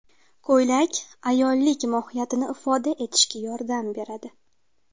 Ko‘ylak − ayollik mohiyatini ifoda etishga yordam beradi.